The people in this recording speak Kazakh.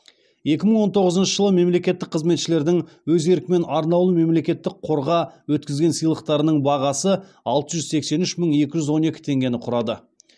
екі мың он тоғызыншы жылы мемлекеттік қызметшілердің өз еркімен арнаулы мемлекеттік қорға өткізген сыйлықтарының бағасы алты жүз сексен үш мың екі жүз он екі теңгені құрады